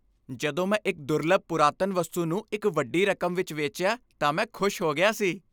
ਜਦੋਂ ਮੈਂ ਇੱਕ ਦੁਰਲੱਭ ਪੁਰਾਤਨ ਵਸਤੂ ਨੂੰ ਇਕ ਵੱਡੀ ਰਕਮ ਵਿਚ ਵੇਚਿਆ ਤਾਂ ਮੈਂ ਖੁਸ਼ ਹੋ ਗਿਆ ਸੀ।